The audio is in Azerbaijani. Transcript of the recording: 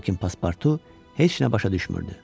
Lakin Paspartu heç nə başa düşmürdü.